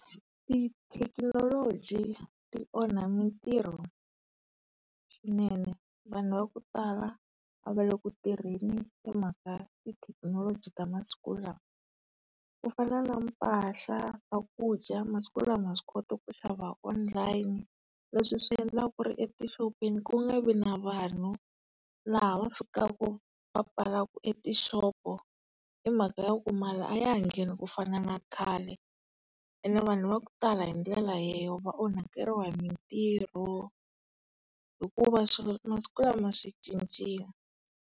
Tithekinoloji ti onha mitirho swinene, vanhu va kutala ava le ku tirheni hi mhaka tithekinoloji ta masiku lawa. Ku fana na mpahla, swakudya, masiku lawa ha swi kota ku xava online leswi swi endlaka etixopini ku nga vi na vanhu laha va sukaka va pfalaku e tixopo hi mhaka ya ku mali a ya ha ngheni ku fana na khale, ene vanhu va ku tala hi ndlela leyo va onhakeriwa hi mitirho, hikuva swilo masiku lama swi cincile.